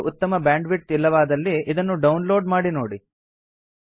ನಿಮ್ಮಲ್ಲಿ ಉತ್ತಮ ಬ್ಯಾಂಡ್ವಿಡ್ತ್ ಇಲ್ಲವಾದಲ್ಲಿ ಇದನ್ನು ಡೌನ್ ಲೋಡ್ ಮಾಡಿ ನೋಡಿ